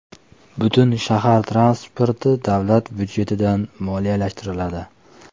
Butun shahar transporti davlat budjetidan moliyalashtiriladi.